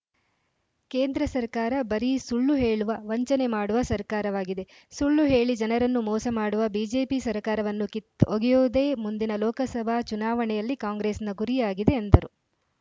ಕೇಂದ್ರ ಸರ್ಕಾರ ಬರೀ ಸುಳ್ಳು ಹೇಳುವ ವಂಚನೆ ಮಾಡುವ ಸರ್ಕಾರವಾಗಿದೆ ಸುಳ್ಳು ಹೇಳಿ ಜನರನ್ನು ಮೋಸ ಮಾಡುವ ಬಿಜೆಪಿ ಸರ್ಕಾರವನ್ನು ಕಿತ್ತೊಗೆಯುವುದೇ ಮುಂದಿನ ಲೋಕಸಭಾ ಚುನಾವಣೆಯಲ್ಲಿ ಕಾಂಗ್ರೆಸ್‌ನ ಗುರಿಯಾಗಿದೆ ಎಂದರು